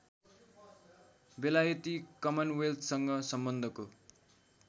बेलायती कमनवेल्थसँग सम्बन्धको